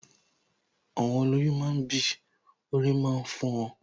Àwọn olọ́yún máa ń bì, orí máa ń fọ wọn